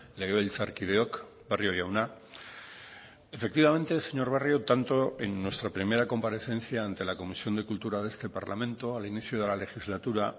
legebiltzarkideok barrio jauna efectivamente señor barrio tanto en nuestra primera comparecencia ante la comisión de cultura de este parlamento al inicio de la legislatura